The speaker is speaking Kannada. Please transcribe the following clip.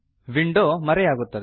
ವಿಂಡೋ ಮರೆಯಾಗುತ್ತದೆ